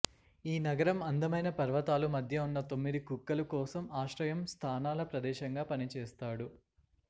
ఈ నగరం అందమైన పర్వతాలు మధ్య ఉన్న తొమ్మిది కుక్కలు కోసం ఆశ్రయం స్థానాల ప్రదేశంగా పనిచేస్తాడు